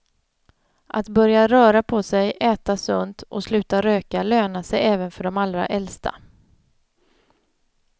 Att börja röra på sig, äta sunt och sluta röka lönar sig även för de allra äldsta.